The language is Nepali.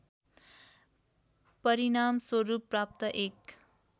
परिणामस्वरूप प्राप्त एक